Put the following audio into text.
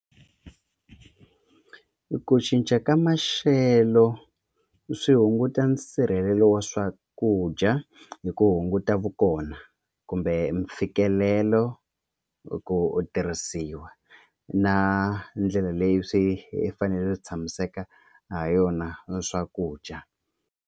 Ku cinca ka maxelo swi hunguta nsirhelelo wa swakudya hi ku hunguta vukona kumbe mfikelelo ku u tirhisiwa na ndlela leyi swi fanele swi tshamiseke ha yona swakudya.